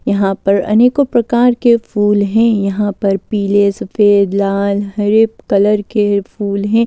यहां पर अनेकों प्रकार के फूल हैं यहां पर पीले सफेद लाल हरे कलर के फूल हैं।